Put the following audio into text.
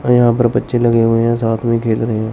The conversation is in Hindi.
और यहां पर बच्चे लगे हुए हैं साथ में खेल रहे हैं।